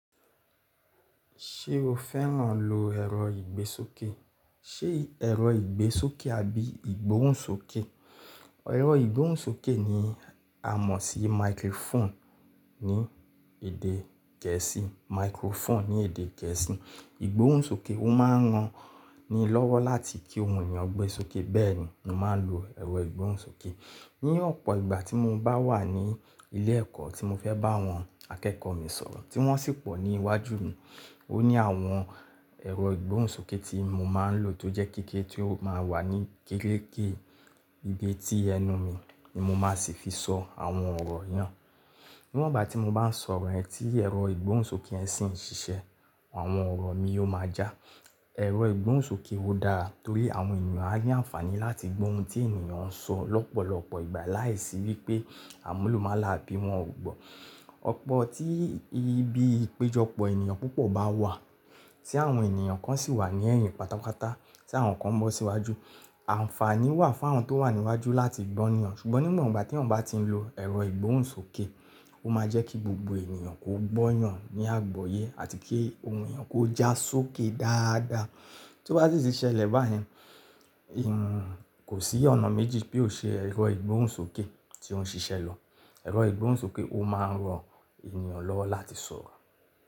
Ṣé o fẹ́ràn lo ẹ̀rọ ìgbésókè? Ṣé ẹ̀rọ ìgbésókè àbí ìgbóhùnsókè? Ẹ̀rọ ìgbóhùnsókè ni a mọ̀ sí microphone ní èdè gẹ̀ẹ́sì. Microphone ní èdè gẹ̀ẹ́sì. Ìgbóhùnsókè, ó máa ń ran ni lọ́wọ́ láti kí òhun èèyàn gbẹ́ sókè bẹ́ẹ̀ ni mo máa ń lo ẹ̀rọ ìgbóhùnsókè. Ní ọ̀pọ̀ ìgbà tí mo bá wà ní ilé ẹ̀kọ́ tí mo fẹ́ bá àwọn akẹ́kọ̀ọ́ mi sọ̀rọ̀ tí wọ́n sì pọ̀ ní iwájú mi ò ni àwọn ẹ̀rọ ìgbóhùnsókè tí mo máa ń lò tó jẹ́ kéékèèké tí ó máa ń wà ní kéreké ibi tí ẹnu mi ni mo máa sì fi sọ àwọn ọ̀rọ̀ yẹn. Níwọ̀n ìgbà tí mo bá ń sọ̀rọ̀ ẹ̀ tí ẹ̀rọ ìgbóhùnsókè yẹn sì ń ṣiṣẹ́, àwọn ọ̀rọ̀ mi yóò máa já. Ẹ̀rọ ìgbóhùnsókè ó dára torí àwọn èèyàn á ní àǹfààní láti gbó ohun tí ènìyàn ń sọ lọ́pọ̀lọpọ̀ ìgbà láìsí wípé àmúlùmálà bí wọ́n ò gbọ́. Ọ̀pọ̀ tí ibi ìpéjọpọ̀ ènìyàn púpọ̀ bá wà, tí àwọn ènìyàn kan sì wà ní ẹ̀hìn pátápátá, tí àwọn kan bọ́ síwájú, àǹfààní wà fún àwọn tó wà níwájú láti gbọ́ ènìyàn ṣùgbọ́n níwọ̀n ìgbà tí wọ́n bá ti ń lo ẹ̀rọ ìgbóhùnsókè ó máa jẹ́ kí gbogbo ènìyàn kó gbóyàn ní àgbọ̀yé àti kí ohùn èèyàn kó já sókè dáadáa. Tí ó bá sì ṣelẹ́ bá yẹn, kò sí ọ̀nà méjì pé ò ṣe ẹ̀rọ ìgbóhùnsókè tí ó ń ṣiṣẹ́ lọ. Ẹ̀rọ ìgbóhùnsókè ó máa ń ran ènìyàn lọ́wọ́ láti sọ̀rọ̀.